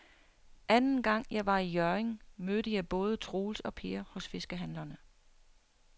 Anden gang jeg var i Hjørring, mødte jeg både Troels og Per hos fiskehandlerne.